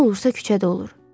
Nə olursa küçədə olur.